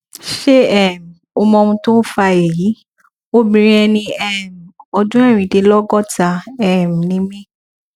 ṣé um o mọ ohun tó ń fa èyí obìnrin ẹni um ọdún erindinlogota um ni mí